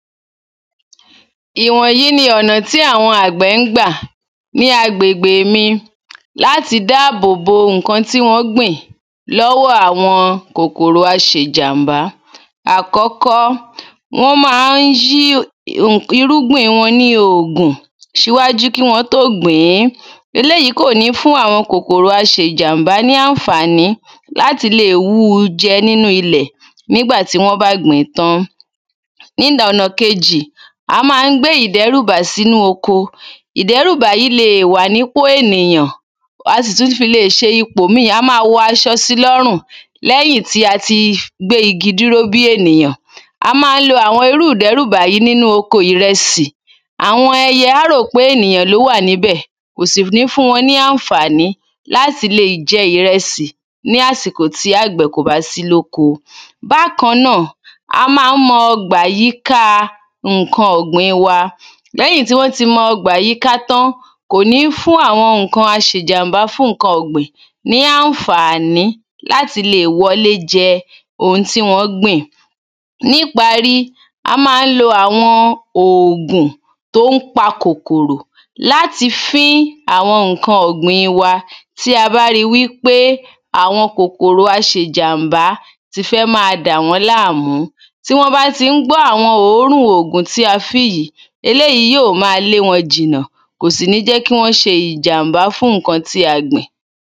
ìwọ́n yíí ni ọ̀nà tí àwọn àgbẹ̀ ń gbà ní agbègbè mi láti dáàbòbo ǹkan tí wọ́n gbìn lọ́wọ́ àwọn kòkòrò aṣejàḿbá. àkọ́kọ́, wọ́n máa ń yí irúgbìn wọ́n ní òògùn ṣíwájú kí wọ́n tó gbìn-ín. eléyìí kò ní fún àwọn kòkòrò aṣe jàḿbá ní àǹfàní láti lè wú u jẹ nínú ilẹ̀ nígbàtí wọ́n bá gbìn-ín tán. ìlà ọ̀nà kéjì, a máa ń gbé ìdẹ́rùbà sínú oko. ìdẹ́rùbà yíí lè wà ní ìpò ènìyàn, a sì tún fi lè ṣe ìpò míì, a máa wọ aṣọ sí i lọ́run. lẹ́yìn tí a ti gbé igi dúró bí ènìyàn, a máa ń lo àwọn irú ìdẹ́rùbà yí nínú oko ìrẹsì àwọn ẹyẹ á rò pé ènìyàn ló wà ní bẹ̀, kò sì ní fún wọn ní àǹfàní láti lè jẹ ìrẹsì ní àsìkò àgbẹ̀ kò bá sí lóko. bákan náà, a máa ń mọ ọgbà yíká ǹkan ọ̀gbìn wa lẹ́yìn tí wọ́n ti mọ ọgbà yíká tán, kò ní fún àwọn ǹkan aṣe jàḿbá fún ǹkan ọ̀gbìn ní àǹfàní láti lè wọlé jẹ oun tí wọ́n gbìn ní pári, a máa ń lo àwọn òògùn tón pa kòkòrò láti fín-ín àwọn ǹkan ọ̀gbìn wa tí a bá ríi pé àwọn kòkòrò aṣe jàḿbá ti fẹ́ máa dàwọ́n láàmú. tí wọ́n bá ti ń gbọ́ àwọn òórùn ògùn tí a fín yìí, eléyìí yí ò máa lé wọn jìnà kò sì ní jẹ́ kí wọ́n ṣe jàḿbá fún ǹkan tí a gbìn.